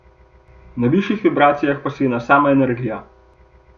Na višjih vibracijah pa si ena sama energija.